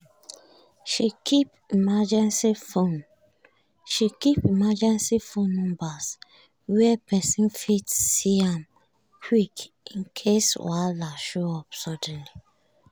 she keep emergency phone numbers where person fit see am quick in case wahala show up suddenly.